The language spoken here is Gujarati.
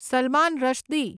સલમાન રશ્દી